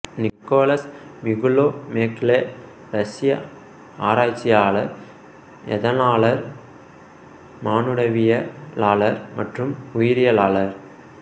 Nicolas Miklouho Maclay ரஷ்ய ஆராய்ச்சியாளர் எதனலாளர் மானுடவியலாளர் மற்றும் உயிரியலாளர்